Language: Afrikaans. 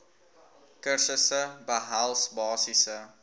kursusse behels basiese